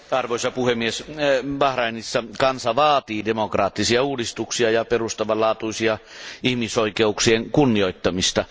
Arvoisa puhemies, Bahrainissa kansa vaatii demokraattisia uudistuksia ja perustavanlaatuisten ihmisoikeuksien kunnioittamista.